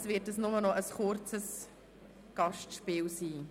Allerdings wird dies nur noch ein kurzes Gastspiel sein.